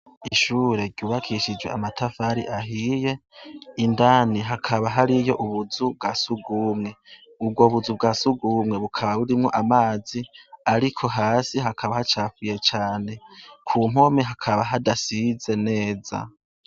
Ishure ryubakishije amatafari ahiye indani hakaba hariyo ubuzu bwasugume ubwo buzu bwasugume bukaba burimwo amazi ariko hasi hakaba hakaba hacafuye cane kumpome hakaba hadasize neza